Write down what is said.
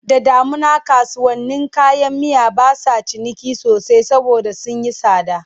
Da damuna kasuwannin kayan miya ba sa ciniki sosai saboda sun yi tsada.